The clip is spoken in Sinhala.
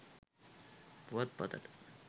පුවත්පතට